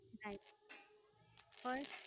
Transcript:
નય first